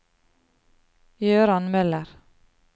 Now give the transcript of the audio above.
Gøran Møller